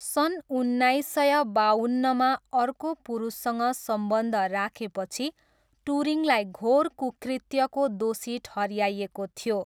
सन् उन्नाइस सय बाउन्नमा अर्को पुरुषसँग सम्बन्ध राखेपछि टुरिङलाई घोर कुकृत्यको दोषी ठहऱ्याएको थियो।